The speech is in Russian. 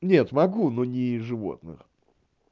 нет могу но не животных